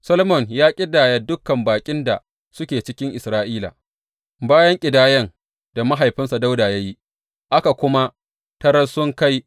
Solomon ya ƙidaya dukan baƙin da suke cikin Isra’ila, bayan ƙidayan da mahaifinsa Dawuda ya yi; aka kuma tarar sun kai